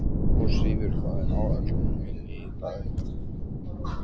Ósvífur, hvað er á áætluninni minni í dag?